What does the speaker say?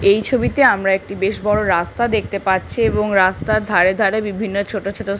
এই ছবিতে আমরা একটি বেশ বড় রাস্তা দেখতে পাচ্ছি এবং রাস্তার ধারে ধারে বিভিন্ন ছোট ছোট--